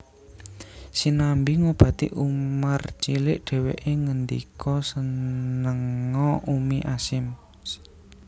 Sinambi ngobati Umar cilik dheweke ngendika Senenga Ummi Ashim